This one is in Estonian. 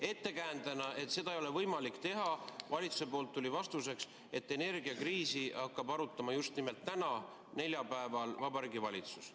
Ettekäändena, miks seda ei ole võimalik teha, tuli valitsuse poolt vastuseks, et energiakriisi hakkab arutama just nimelt täna, neljapäeval Vabariigi Valitsus.